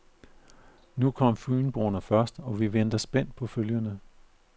Nu kom fynboerne først, og vi venter spændt på følgerne.